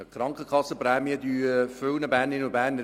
Die Krankenkassenprämien schmerzen viele Bernerinnen und Berner.